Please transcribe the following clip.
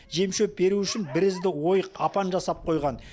жем шөп беру үшін бірізді ойық апан жасап қойған